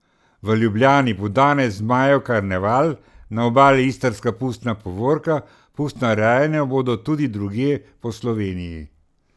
V Ljubljani bo danes Zmajev karneval, na Obali Istrska pustna povorka, pustna rajanja bodo tudi drugje po Sloveniji.